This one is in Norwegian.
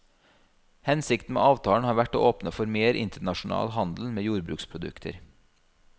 Hensikten med avtalen har vært å åpne for mer internasjonal handel med jordbruksprodukter.